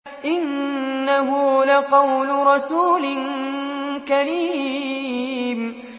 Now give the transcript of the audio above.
إِنَّهُ لَقَوْلُ رَسُولٍ كَرِيمٍ